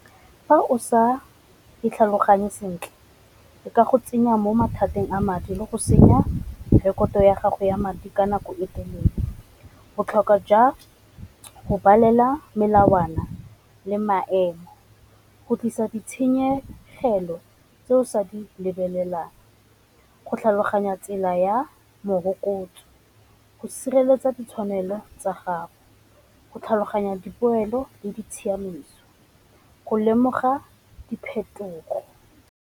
Fa o sa itlhaloganye sentle ka go tsenya mo mathateng a madi le go senya rekoto ya gago ya madi ka nako e telele. Botlhokwa jwa go balelwa melawana le maemo go tlisa ditshenyegelo tse o sa di lebelelang, go tlhaloganya tsela ya morokotso, go sireletsa ditshwanelo tsa gago, go tlhaloganya dipoelo le di tshiamiso, go lemoga diphetogo.